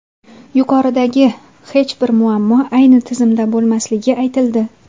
Yuqoridagi hech bir muammo ayni tizimda bo‘lmasligi aytildi.